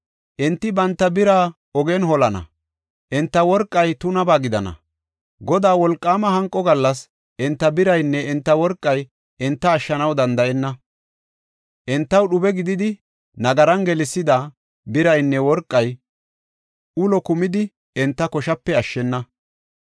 Enti banta bira ogen holana; enta worqay tunaba gidana. Godaa wolqaama hanqo gallas enta biraynne enta worqay enta ashshanaw danda7enna. Entaw dhube gididi, nagaran gelsida, biraynne worqay ulo kumidi, enta koshape ashshena.